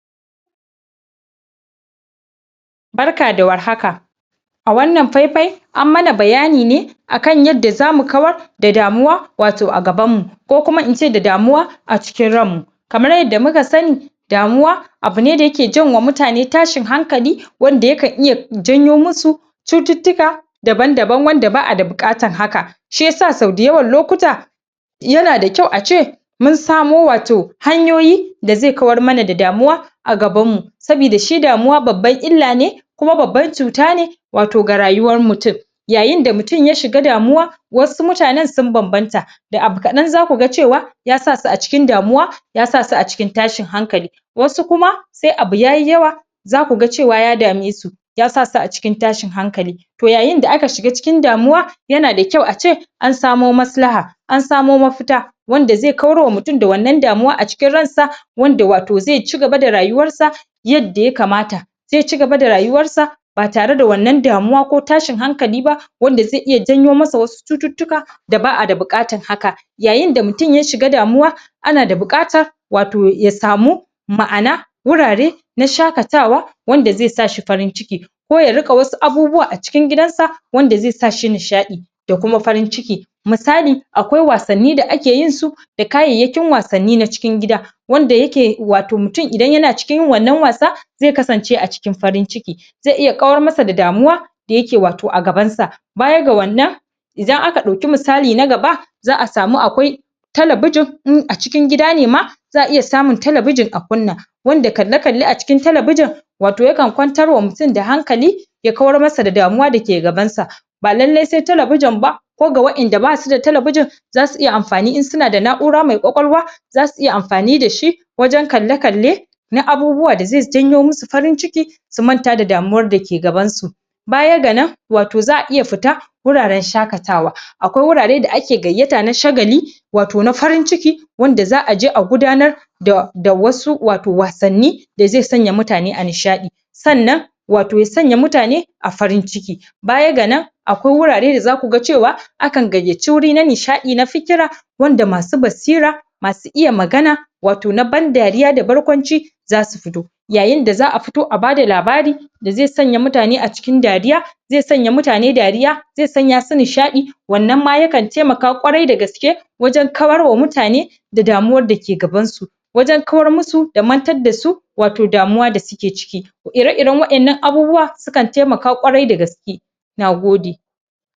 Barka da war haka a wannan fai-fai an mana bayani ne akam yadda zamu kawar da damuwa wato a gaban mu ko kuma ince da damuwa a cikin ranmu kamar yadda muka sani damuwa abune da yake janwa mutane tashin hankali wanda yakan iya janyo musu cututtuka daban-daban wanda ba'a da buƙatan haka shiyasa sau da yawan lokuta yana da kyau a ce mun samo wato hanyoyi da ze kawar mana da damjuwa a gaban mu sabida shi damuwa babban illa ne kuma babban cuta ne wato ga rayuwar mutum. Yayinda mutum ya shiga damuwa wau mutanan sun banbanta da abu kaɗan za kuga cewa ya sasu a cikin damuwa ya sasu a cikin tashin hankali wasu kuma se abu yayi yawa za kuga cewa ya damesu ya sasu a cikin tashin hankali toh yayinda aka shiga cikin damuwa yana da kyau a ce an samo maslaha an samo mafita wanda ze kawar wa mutum da wannan damuwa a cikin ransa wanda wato ze cigaba da rayuwar sa yadda ya kamata. Ze cigaba da rayuwar sa ba tareda wannan damuwa ko tsahin hankali ba wanda ze iya janyo masa wasu cututtuka da ba'a da buƙatan haka, yayinda mutum ya shiga damuwa ana da buƙata wato ya samu ma'ana wurare na shakatawa wanda ze sa shi farin ciki ko ya riƙa wasu abubuwa a cikin gidan sa wanda ze sashi nishaɗi da kuma farin ciki misali, akwai wasanni da ake yin su da kayayyakin wasanni na cikin gida wanda yake wato mutum idan yana cikin yin wannan wasa ze kasance a cikin farin ciki ze iya kawar masa da damuwa da yake wato a gaban sa. Baya ga wannan idan aka ɗauki misali na gaba za'a samu akwai talabijin in a cikin gida ne ma za'a iya samun talabijin a kunna. Wanda kalle-kalle a cikin talabijin wato yakan kwantar wa mutum da hankali ya kawar masa da damuwa dake gabar sa ba lallai se talabijin ba ko ga wa'inda ba suda talabijin za su iya amfani in suna da na'ura mai ƙwaƙwalwa zasu iya amfani da shi wajan kalla-kalle na abubuwa da ze janyo musu farin ciki su manta da damuwar da ke gabansu. Baya ga nan wato za'a iya fita wuraran shakatawa, akwai wurare da ake gayyata na shagali wato na farin ciki wanda za'aje a gudanar da da wasu wato wasanni da ze sanya mutane a nishaɗi, sannan wato ya sanya mutane a farin ciki. Baya ga nan akwai wurare da za kuga cewa akan gayyaci wuri na nishaɗi na fikira wanda masu basira masu iya magana wato na ban dariya na barkwanci zasu fito. Yayinda za'a fito a bada labari da ze sanya mutane a cikin dariya ze sanya mutane dariya ze sanya su nishaɗi wannan ma yakan taimaka kwarai da gaske wajan kawar wa mutane da damuwar da ke gaban su wajan kawar musu da mantar da su wato damuwa da suke ciki. Ire-iren wa'innan abubuwa sukan taimaka kwarai da gaske nagode.